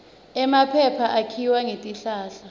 emaphepha akhiwa ngetihlahla